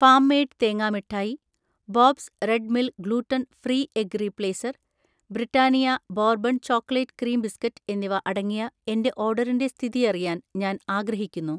farm made തേങ്ങാ മിഠായി, Bob's Red Mill gluten free egg replacer, Britannia Bourbon chocolate cream biscuit എന്നിവ അടങ്ങിയ എന്‍റെ ഓർഡറിന്‍റെ സ്ഥിതിഅറിയാൻ ഞാൻ ആഗ്രഹിക്കുന്നു